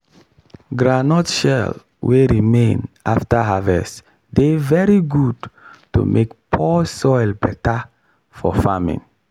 groundnut shell wey remain after harvest dey very good to make poor soil better for farming